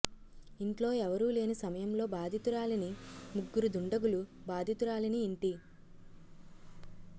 ఇంట్లో ఎవరూ లేని సమయంలో బాధితురాలిని ముగ్గురు దుండగులు బాధితురాలిని ఇంటి